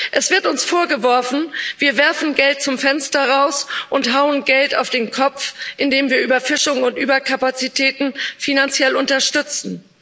Es wird uns vorgeworfen, wir werfen Geld zum Fenster raus und hauen Geld auf den Kopf, indem wir Überfischung und Überkapazitäten finanziell unterstützen.